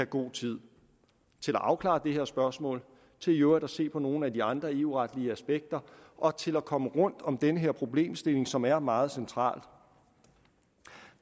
god tid til at afklare det her spørgsmål til i øvrigt at se på nogle af de andre eu retlige aspekter og til at komme rundt om denne problemstilling som er meget central